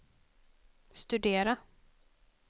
studera